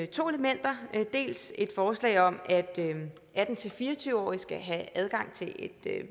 to elementer dels et forslag om at atten til fire og tyve årige skal have adgang til et